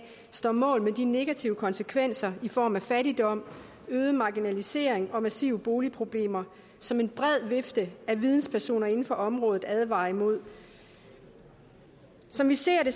står mål med de negative konsekvenser i form af fattigdom øget marginalisering og massive boligproblemer som en bred vifte af videnspersoner inden for området advarer imod som vi ser det